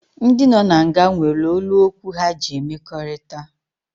Ndị nọ na nga nwere olu okwu ha ji emekọrịta